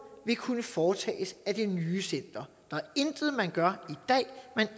vil kunne foretages af det nye center der er intet man gør